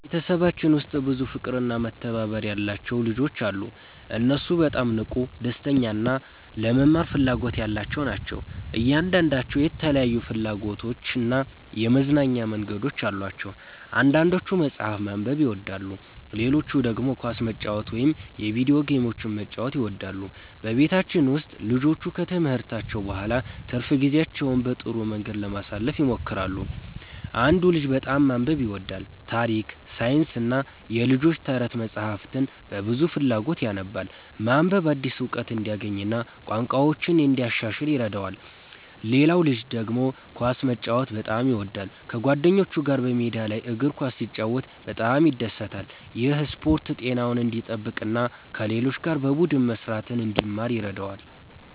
በቤተሰባችን ውስጥ ብዙ ፍቅርና መተባበር ያለባቸው ልጆች አሉ። እነሱ በጣም ንቁ፣ ደስተኛ እና ለመማር ፍላጎት ያላቸው ናቸው። እያንዳንዳቸው የተለያዩ ፍላጎቶችና የመዝናኛ መንገዶች አሏቸው። አንዳንዶቹ መጽሐፍ ማንበብ ይወዳሉ፣ ሌሎቹ ደግሞ ኳስ መጫወት ወይም የቪዲዮ ጌሞችን መጫወት ይወዳሉ። በቤታችን ውስጥ ልጆቹ ከትምህርታቸው በኋላ ትርፍ ጊዜያቸውን በጥሩ መንገድ ለማሳለፍ ይሞክራሉ። አንዱ ልጅ በጣም ማንበብ ይወዳል። ታሪክ፣ ሳይንስና የልጆች ተረት መጻሕፍትን በብዙ ፍላጎት ያነባል። ማንበብ አዲስ እውቀት እንዲያገኝ እና ቋንቋውን እንዲያሻሽል ይረዳዋል። ሌላው ልጅ ደግሞ ኳስ መጫወት በጣም ይወዳል። ከጓደኞቹ ጋር በሜዳ ላይ እግር ኳስ ሲጫወት በጣም ይደሰታል። ይህ ስፖርት ጤናውን እንዲጠብቅ እና ከሌሎች ጋር በቡድን መስራትን እንዲማር ይረዳዋል።